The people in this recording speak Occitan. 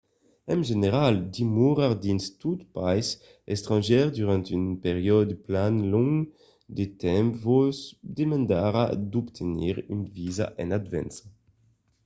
en general demorar dins tot país estrangièr durant un periòde plan long de temps vos demandarà d’obtenir un visa en avança